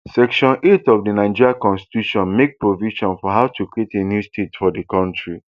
section eight of di nigeriaconstitutionmake provision for how to create a new state for di kontri